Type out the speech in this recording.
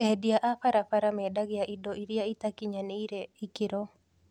Endia a barabara mendagia indo iria itakinyanĩirie ikĩro